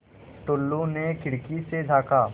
टुल्लु ने खिड़की से झाँका